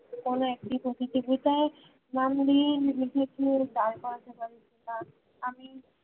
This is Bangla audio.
কোনো একটি প্রতিযোগীতায় normally নিজেকে দিয়ে দাড় করাতে পারি কিনা